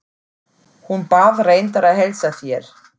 Hún bað reyndar að heilsa þér.